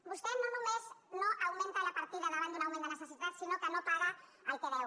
vostè no només no augmenta la partida davant d’un augment de necessitats sinó que no paga el que deu